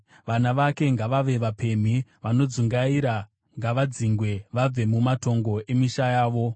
Vana vake ngavave vapemhi vanodzungaira; ngavadzingwe vabve mumatongo emisha yavo.